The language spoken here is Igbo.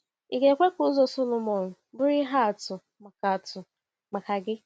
Ị ga-ekwe ka ụzọ Sọlọmọn bụrụ ihe atụ maka atụ maka gị?